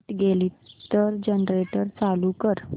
light गेली तर generator चालू कर